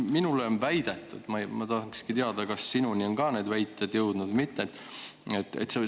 Minule on väidetud ja ma tahan teada, kas sinuni on ka need väited jõudnud või mitte.